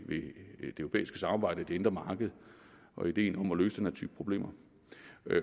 europæiske samarbejde og det indre marked og i ideen om at løse den her type problemer